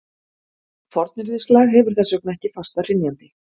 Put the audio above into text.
Fornyrðislag hefur þess vegna ekki fasta hrynjandi.